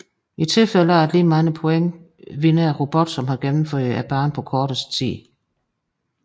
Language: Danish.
I tilfælde af lige mange points vinder robotten som har gennemført banen på kortest tid